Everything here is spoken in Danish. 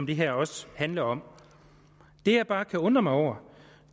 det her også handler om det jeg bare kan undre mig over